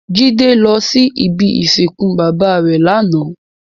Jide lò si ibi isinkún baba rè làná